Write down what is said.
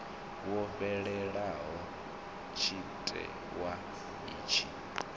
wo fhelaho tshite wa itshi